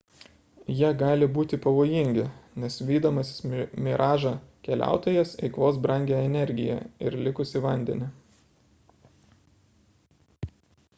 jie gali būti pavojingi nes vydamasis miražą keliautojas eikvos brangią energiją ir likusį vandenį